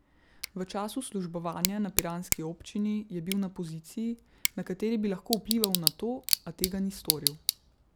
V času službovanja na piranski občini je bil na poziciji, na kateri bi lahko vplival na to, a tega ni storil.